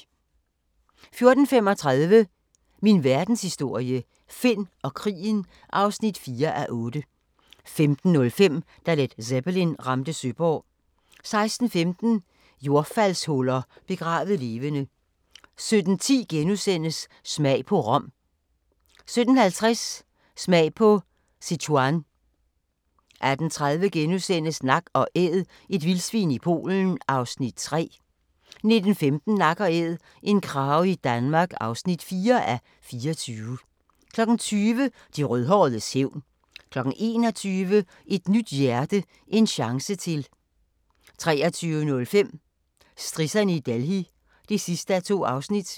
14:35: Min Verdenshistorie – Finn og krigen (4:8) 15:05: Da Led Zeppelin ramte Søborg 16:15: Jordfaldshuller – begravet levende 17:10: Smag på Rom * 17:50: Smag på Sichuan 18:30: Nak & Æd – et vildsvin i Polen (3:24)* 19:15: Nak & æd - en krage i Danmark (4:24) 20:00: De rødhåredes hævn 21:00: Et nyt hjerte: en chance til 23:05: Strisserne i Delhi (2:2)